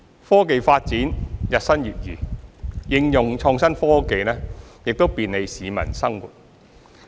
科技發展日新月異，應用創新科技亦便利市民生活。